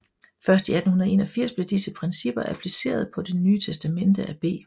Først i 1881 blev disse principper appliceret på Det Nye Testamente af B